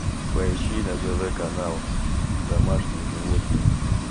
поищи на тв канал домашние животные